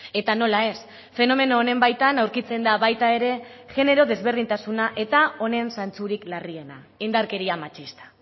eta nola ez fenomeno honen baitan aurkitzen da baita ere genero desberdintasuna eta honen zantzurik larriena indarkeria matxista